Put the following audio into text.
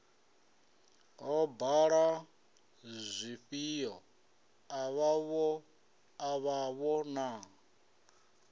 ho bala zwifhio avhavho na